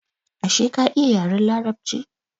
Ashe ka iya yaren larabci?